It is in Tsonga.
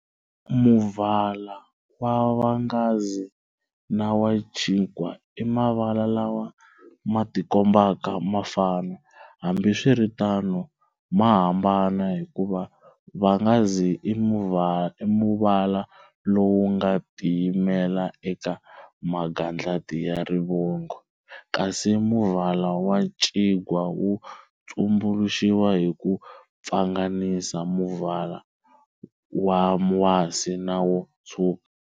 Muvala wa vhangazi na wa ncingwa i mavala lawa ma tikombaka ma fana, hambi swiritano ma hamban hikuva vhangazi i muvala lowu nga ti yimela eka magandlati ya rivoningo, kasi muvala wa ncingwa wu tumbuluxiwa hi ku pfanganisa muvala wa wasi na wo tshwuka.